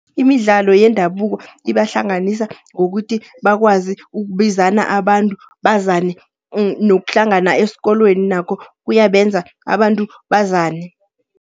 Imidlalo yendabuko, ibahlanganisa ngokuthi bakwazi ukubizana abantu bazane. Nokuhlangana eskolweni nakho kuyabenza abantu bazane.